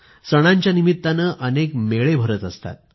सणांच्या निमित्ताने अनेक जत्रा भरत असतात